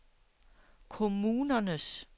kommunernes